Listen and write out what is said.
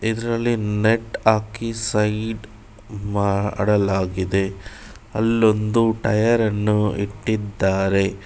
ಇದರಲ್ಲಿ ನೆಟ್ ಹಾಕಿ ಸೈಡ್ ಮಾಡಲಾಗಿದೆ ಅಲ್ಲೊಂದು ಟಯರ್ ಅನ್ನು ಇಟ್ಟಿದ್ದಾರೆ.